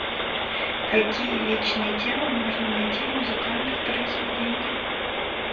какие вечные темы можно найти в музыкальных произведениях